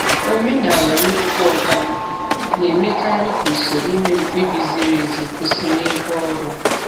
Omenala "nnukwu oga m" na-emekarị ka usoro ime mkpebi ziri ezi kwụsị n'ebe ọrụ.